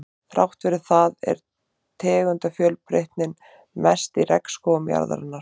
Þrátt fyrir það er tegundafjölbreytnin mest í regnskógum jarðarinnar.